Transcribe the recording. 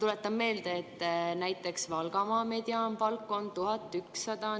See, mida me praegu teeme, on täpselt seesama asi: me alandame tööjõumakse, me alandame tööjõu efektiivset maksumäära 32,7%-lt alla 32%.